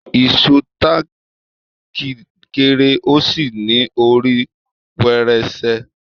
Ìṣó táàkì kéré ó sì ní orí pẹrẹsẹ.